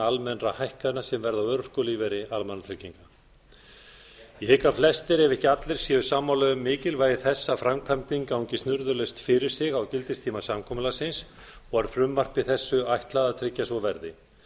almennra hækkana sem verða á örorkulífeyri almannatrygginga ég hygg að flestir ef ekki allir séu sammála um mikilvægi þess að framkvæmdin gangi snurðulaust fyrir sig á gildistíma samkomulagsins og er frumvarpi þessu ætlað að tryggja að svo verði